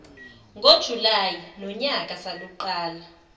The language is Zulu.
ngojulayi nonyaka saluqala